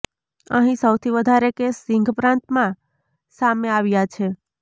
અહીં સૌથી વધારે કેસ સિંધ પ્રાંતમાં સામે આવ્યા છે